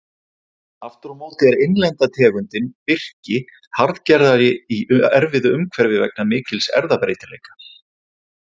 Aftur á móti er innlenda tegundin birki harðgerðari í erfiðu umhverfi vegna mikils erfðabreytileika.